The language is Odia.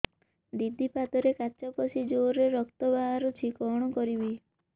ଦିଦି ପାଦରେ କାଚ ପଶି ଜୋରରେ ରକ୍ତ ବାହାରୁଛି କଣ କରିଵି